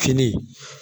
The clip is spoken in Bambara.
Fini